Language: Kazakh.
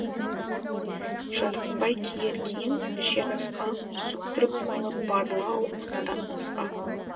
жарытпай киер киім ішер асқа сөктіріп малы барлау надан насқа